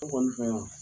Ne kɔni fɛ yan